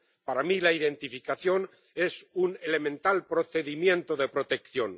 Para mí, la identificación es un elemental procedimiento de protección.